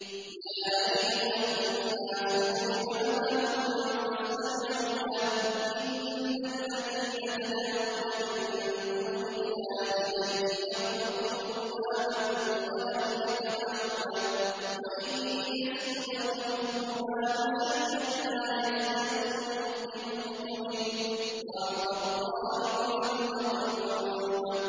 يَا أَيُّهَا النَّاسُ ضُرِبَ مَثَلٌ فَاسْتَمِعُوا لَهُ ۚ إِنَّ الَّذِينَ تَدْعُونَ مِن دُونِ اللَّهِ لَن يَخْلُقُوا ذُبَابًا وَلَوِ اجْتَمَعُوا لَهُ ۖ وَإِن يَسْلُبْهُمُ الذُّبَابُ شَيْئًا لَّا يَسْتَنقِذُوهُ مِنْهُ ۚ ضَعُفَ الطَّالِبُ وَالْمَطْلُوبُ